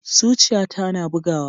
Zuciyata na bugawa.